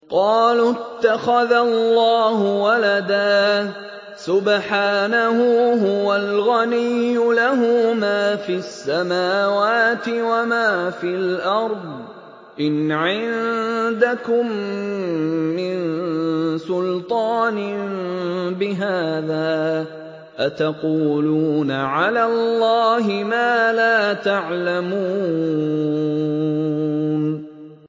قَالُوا اتَّخَذَ اللَّهُ وَلَدًا ۗ سُبْحَانَهُ ۖ هُوَ الْغَنِيُّ ۖ لَهُ مَا فِي السَّمَاوَاتِ وَمَا فِي الْأَرْضِ ۚ إِنْ عِندَكُم مِّن سُلْطَانٍ بِهَٰذَا ۚ أَتَقُولُونَ عَلَى اللَّهِ مَا لَا تَعْلَمُونَ